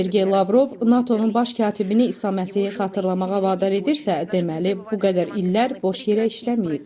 Sergey Lavrov NATO-nun baş katibini İsa Məsihi xatırlamağa vadar edirsə, deməli bu qədər illər boş yerə işləməyib.